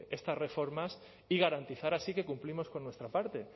estas reformas y garantizar así que cumplimos con nuestra parte